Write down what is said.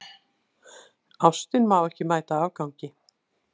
Ástin má ekki mæta afgangi.